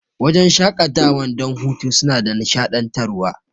Wajan shaƙatawan don hutu suna da nishaɗantar wa